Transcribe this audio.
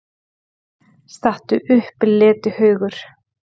STATTU UPP, LETIHAUGUR!